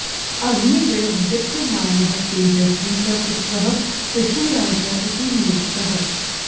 अग्निरिव दीप्यमानः तेजस्वी स पुत्रः पृथुः राजा इति नियुक्तः